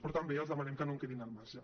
però també els demanem que no en quedin al marge